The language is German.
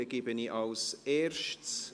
Dann gebe ich als Erstes …